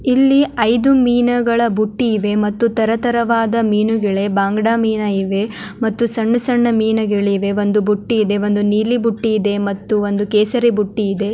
ಇಲ್ಲಿ ಐದು ಮೀನುಗಳ ಬುಟ್ಟಿ ಇವೆ ಮತ್ತು ತರತರವಾದ ಮೀನುಗಳೆ ಭಾಂಗಡಾ ಮೀನ್ ಇವೆ ಮತ್ತು ಸಣ್ಣ ಸಣ್ಣ ಮೀನುಗಳಿವೆ ಒಂದು ಬುಟ್ಟಿ ಇದೆ ಒಂದು ನೀಲಿ ಬುಟ್ಟಿ ಇದೆ ಮತ್ತು ಒಂದು ಕೇಸರಿ ಬುಟ್ಟಿ ಇದೆ.